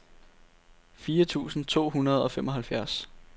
fire tusind to hundrede og femoghalvfjerds